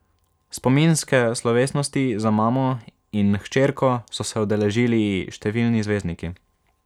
Spominske slovesnosti za mamo in hčerko so se udeležili številni zvezdniki.